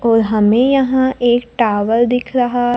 और हमे यहां एक टावर दिख रहा--